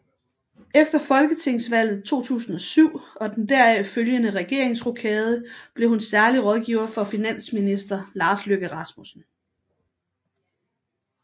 Efter folketingsvalget 2007 og den deraf følgende regeringsrokade blev hun særlig rådgiver for finansminister Lars Løkke Rasmussen